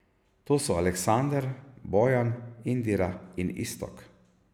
To so Aleksandar, Bojan, Indira in Iztok.